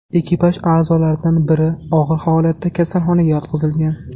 Ekipaj a’zolaridan biri og‘ir holatda kasalxonaga yotqizilgan.